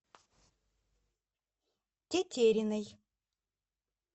тетериной